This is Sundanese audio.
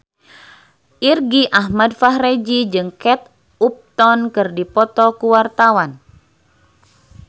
Irgi Ahmad Fahrezi jeung Kate Upton keur dipoto ku wartawan